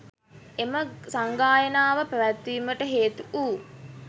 එම සංඝායනාව පැවැත්වීමට හේතු වූ